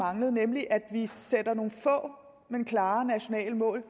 manglet nemlig at vi sætter nogle få men klare nationale mål